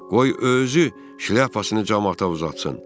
Qoy özü şlyapasını camaata uzatsın.